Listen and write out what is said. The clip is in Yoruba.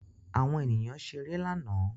Àwọn ènìyàn ṣeré lánàá